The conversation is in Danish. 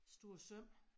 Store søm